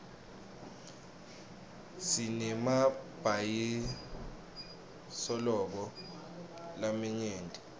sinemabhayisilobho lamanyenti